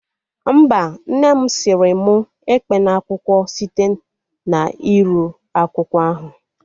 Mba, nne mụ sịrị mụ ekpena akwụkwọ site na iru akwụkwọ ahụ